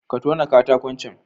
Ka tona katakon can